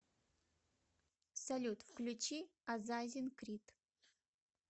салют включи азазин крит